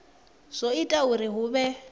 zwo ita uri hu vhe